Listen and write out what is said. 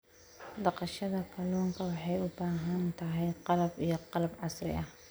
Dhaqashada kalluunka waxay u baahan tahay qalab iyo qalab casri ah.